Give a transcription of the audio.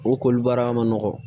O koli baara ma nɔgɔn